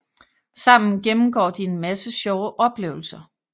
Sammen gennemgår de en masse sjove oplevelser